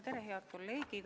Tere, head kolleegid!